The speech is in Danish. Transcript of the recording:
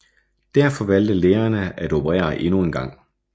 Derfor valgte lægerne at operere endnu en gang